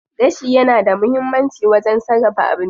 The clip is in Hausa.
Gashi yana da muhimmanci wajen sarrafa abinci.